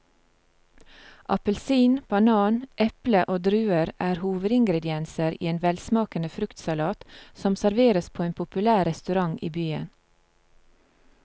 Appelsin, banan, eple og druer er hovedingredienser i en velsmakende fruktsalat som serveres på en populær restaurant i byen.